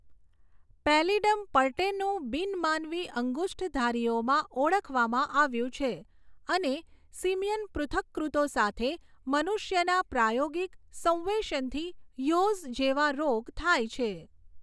Pallidum pertenue બિન માનવી અંગુષ્ઠધારીઓમાં ઓળખવામાં આવ્યું છે અને સિમિયન પૃથક્કૃતો સાથે મનુષ્યના પ્રાયોગિક સંવેશનથી યૉઝ જેવા રોગ થાય છે.